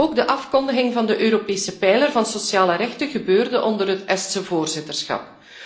Ook de afkondiging van de Europese pijler van sociale rechten gebeurde onder het Estse voorzitterschap.